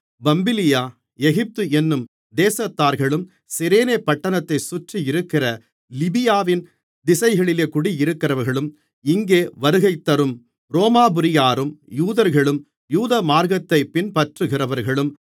Pamphylia Egypt என்னும் தேசத்தார்களும் Cyrene பட்டணத்தைச் சுற்றியிருக்கிற லீபியாவின் திசைகளிலே குடியிருக்கிறவர்களும் இங்கே வருகைதரும் ரோமாபுரியாரும் யூதர்களும் யூதமார்க்கத்தை பின்பற்றுகிறவர்களும்